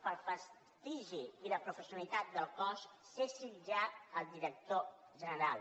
pel prestigi i la professionalitat del cos cessi ja el director general